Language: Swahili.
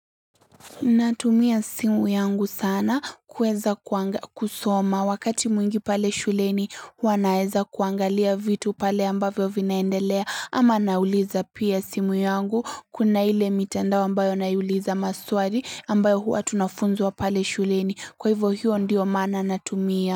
Natumia simu yangu sana kuweza kusoma wakati mwingi pale shuleni huwa naweza kuangalia vitu pale ambavyo vinaendelea ama nauliza pia simu yangu kuna ile mitandao ambayo naiuliza masuali ambayo huwa tunafunzwa pale shuleni kwa hivyo hiyo ndiyo maana natumia.